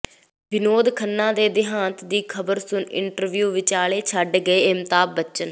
ਵਿਨੋਦ ਖੰਨਾ ਦੇ ਦਿਹਾਂਤ ਦੀ ਖ਼ਬਰ ਸੁਣ ਇੰਟਰਵਿਊ ਵਿਚਾਲੇ ਛੱਡ ਗਏ ਅਮਿਤਾਬ ਬੱਚਨ